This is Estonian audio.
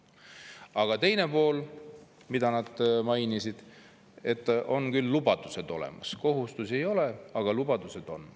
Aga teine pool, mida nad mainisid, et on küll lubadused olemas – kohustusi ei ole, aga lubadused on.